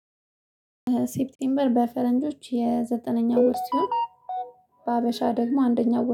ሴፕቴምበር በፈረንጆች የዘጠነኛው ወር ሲሆን። በሀበሻ ደግሞ አንደኛው